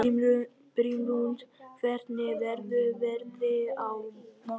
Brimrún, hvernig verður veðrið á morgun?